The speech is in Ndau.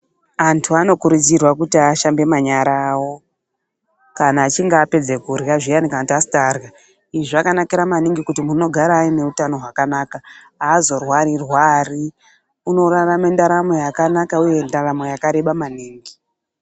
Antu anokurudzirwa kuti ashambe manyara awo kana achinge apedze kurya zviyani kana kuti antu asati arya.. zvakanaka maningi kuti muntu unogara ane utano hwakanaka aazorwaru rwari, unorarama ndaramo yakanaka ende yakareba maningi.